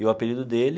E o apelido dele,